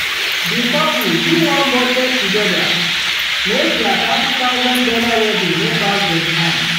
the couple do one budget together make their thirty thousand dollar wedding no pass them hand.